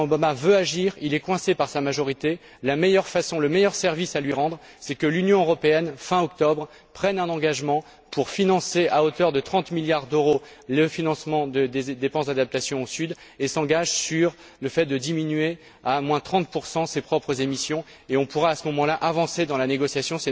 Le président Obama veut agir, mais il est coincé par sa majorité. Le meilleur service à lui rendre, c'est que l'Union européenne, fin octobre, prenne un engagement pour financer à hauteur de 30 milliards d'euros le financement des dépenses d'adaptation au Sud et s'engage sur une réduction de 30 de ses propres émissions, et on pourra à ce moment là avancer dans la négociation.